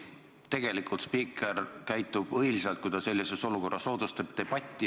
Tegelikult spiiker käitub õilsalt, kui ta sellises olukorras soodustab debatti.